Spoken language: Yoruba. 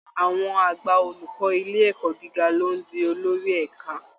Àwọn àgbà olùkọ́ ilé ẹ̀kọ́ gíga ló ń di olórí ẹ̀ka